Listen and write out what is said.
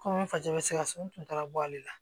Kɔmi fasa bɛ sikaso n kun taara bɔ ale la